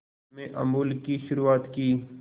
में अमूल की शुरुआत की